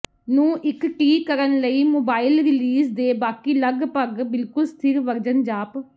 ਨੂੰ ਇੱਕ ਟੀ ਕਰਨ ਲਈ ਮੋਬਾਈਲ ਰੀਲਿਜ਼ ਦੇ ਬਾਕੀ ਲਗਭਗ ਬਿਲਕੁਲ ਸਥਿਰ ਵਰਜਨ ਜਾਪ